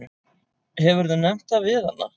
Hefurðu nefnt það við hana?